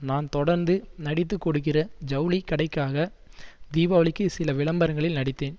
நான் தொடர்ந்து நடித்து கொடுக்கிற ஜவுளி கடைக்காக தீபாவளிக்கு சில விளம்பரங்ளில் நடித்தேன்